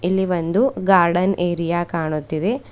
ಇಲ್ಲಿ ಒಂದು garden area ಕಾಣುತ್ತಿದೆ.